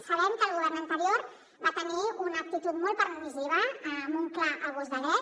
sabem que el govern anterior va tenir una actitud molt permissiva amb un clar abús de dret